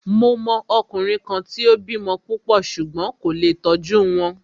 Mo mọ ọkùnrin kan tí o bímọ púpọ̀ ṣùgbón kò lé tó tọ́jú wọn.